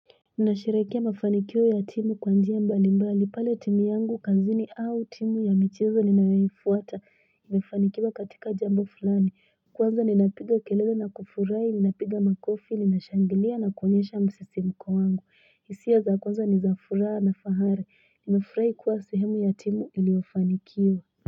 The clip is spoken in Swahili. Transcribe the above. Ninasherehekea mafanikio ya timu kwa njia mbali mbali. Pale timu yangu kazini au timu ya michezo ninayoifuata. Imefanikiwa katika jambo fulani. Kwanza, ninapiga kelele na kufurahi. Ninapiga makofi, ninashangilia na konyesha msisimko wangu. Hisia za kwanza ni za furaha na fahari. Nimefurahi kuwa sehemu ya timu iliofanikiwa.